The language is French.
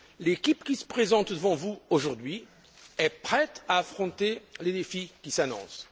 L'équipe qui se présente devant vous aujourd'hui est prête à affronter les défis qui s'annoncent.